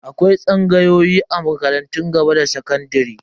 Akwai tsangayoyi a makarantun gaba da sakandare.